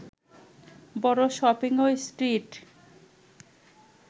বড় শপিংই স্ট্রিট